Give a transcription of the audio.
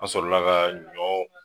An sɔrɔla ka ɲɔ